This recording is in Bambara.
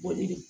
Boli de